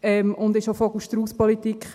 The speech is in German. Es ist eine Vogelstrausspolitik: